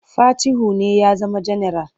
Fatihu ne ya zama janaral.